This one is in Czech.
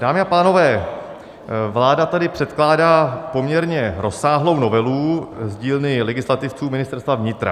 Dámy a pánové, vláda tady předkládá poměrně rozsáhlou novelu z dílny legislativců Ministerstva vnitra.